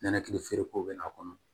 Nɛnɛkili feereko be na